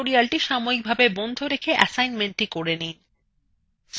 এই tutorialটি সাময়িকভাবে বন্ধ রেখে কাজটি করে নিন